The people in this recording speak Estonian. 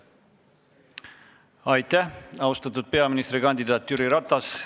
Aitäh, austatud peaministrikandidaat Jüri Ratas!